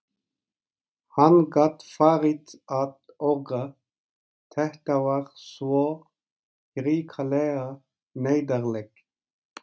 Hann gat farið að orga, þetta var svo hrikalega neyðarlegt.